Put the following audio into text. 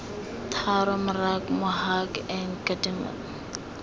tharo mrac mohac and kdmpm